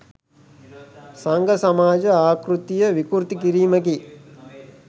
සංඝ සමාජ ආකෘතිය විකෘති කිරීමකි